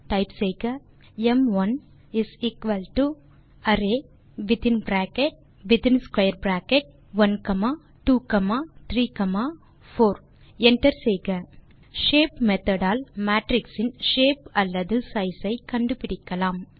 terminal லில் type செய்க ம்1 அரே வித்தின் பிராக்கெட் மற்றும் square bracket 1 comma 2 comma 3 comma 4 enter செய்க ஷேப் மெத்தோட் ஆல் மேட்ரிக்ஸ் இன் ஷேப் அல்லது சைஸ் ஐ கண்டுபிடிக்கலாம்